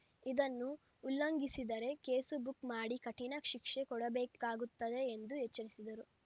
ಇದನ್ನು ಉಲ್ಲಘಿಸಿದರೆ case book ಮಾಡಿ ಕಠಿಣ ಶಿಕ್ಷೆ ಕೊಡಬೇಕಾಗುತ್ತದೆ ಎಂದು ಎಚ್ಚರಿಸಿದರು